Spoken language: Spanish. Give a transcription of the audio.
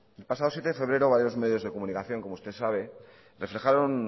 el pasado siete de febrero varios medios de comunicación como usted sabe reflejaron